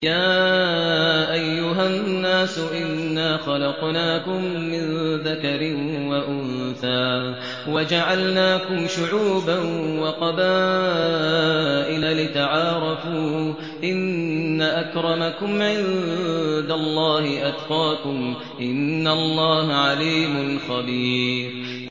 يَا أَيُّهَا النَّاسُ إِنَّا خَلَقْنَاكُم مِّن ذَكَرٍ وَأُنثَىٰ وَجَعَلْنَاكُمْ شُعُوبًا وَقَبَائِلَ لِتَعَارَفُوا ۚ إِنَّ أَكْرَمَكُمْ عِندَ اللَّهِ أَتْقَاكُمْ ۚ إِنَّ اللَّهَ عَلِيمٌ خَبِيرٌ